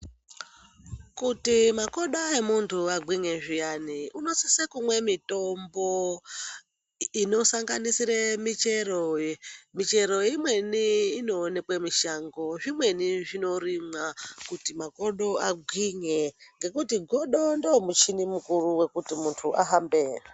Kuti makodo emunhu agwinye zviyani unosise kumwe mitombo inosanganisire michero ,michero imweni inoonekwe mushango zvimweni zvinorimwa kuti makodo agwinye ngekuti godo ndomuchini mukuru wekuti muntu ahambe.